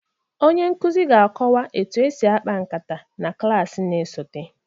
Onye nkuzi ga-akọwa etu esi akpa nkata na klas na-esote